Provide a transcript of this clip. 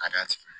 Ka d'a tigi ma